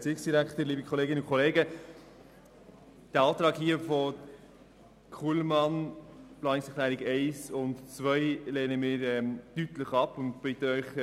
Wir lehnen beide Anträge deutlich ab und bitten Sie, dies ebenfalls zu tun.